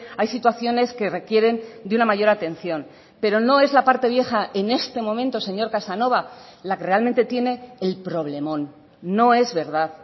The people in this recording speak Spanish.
hay situaciones que requieren de una mayor atención pero no es la parte vieja en este momento señor casanova la que realmente tiene el problemón no es verdad